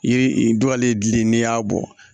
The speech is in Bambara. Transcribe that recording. Yiri dɔw la ye gili n'i y'a bɔ